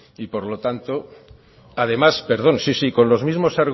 y por lo tanto además perdón sí sí con los mismos